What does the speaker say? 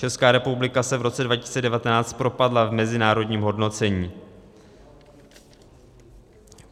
Česká republika se v roce 2019 propadla v mezinárodním hodnocení.